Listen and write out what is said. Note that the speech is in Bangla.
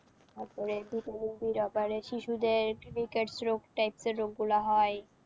তারপরে vitamin B র অভাবে শিশুদের rickets রোগ type এর রোগগুলো হয়।